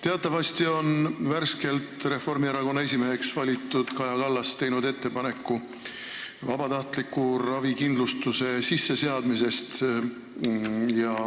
Teatavasti on värskelt Reformierakonna esimeheks valitud Kaja Kallas teinud ettepaneku seada sisse vabatahtlik ravikindlustus.